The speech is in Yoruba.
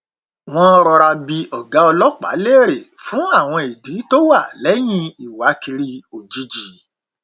wọn rọra bi ọgá ọlọpàá léèrè fún àwọn ìdí tó wà lẹyìn ìwákiri ójijì